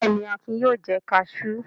Bẹ́ẹ̀ ni, Akin yóò jẹ kaṣú.